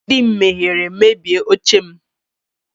Nne di m mehiere mebie oche m.